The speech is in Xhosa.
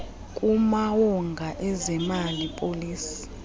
kumawonga ezemali policy